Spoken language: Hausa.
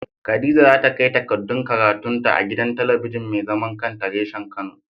Khadija za ta kai takardun karatun ta a gidan talabijin mai zaman kanta reshen kano.